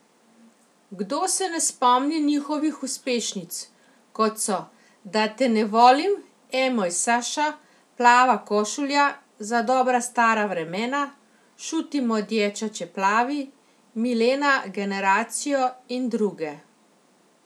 Kdo se ne spomni njihovih uspešnic, kot so Da te ne volim, E moj Saša, Plava košulja, Za dobra stara vremena, Šuti moj dječače plavi, Milena generacijo in druge.